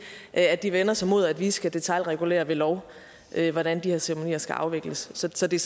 at de vender sig imod at vi skal detailregulere ved lov hvordan de her ceremonier skal afvikles så det